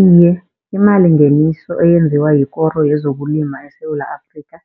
Iye, imalingeniso eyenziwa yikoro yezokulima eSewula Afrikha,